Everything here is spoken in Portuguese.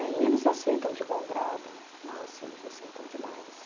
Né? E eles aceitam de bom grado, nossa, eles aceitam demais.